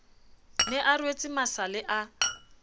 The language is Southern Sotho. ne a rwetse masale a